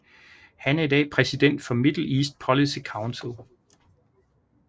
Han er i dag præsident for Middle East Policy Council